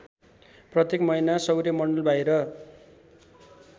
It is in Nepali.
प्रत्येक महिना सौर्यमण्डलबाहिर